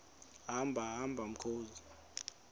hamba hamba mkhozi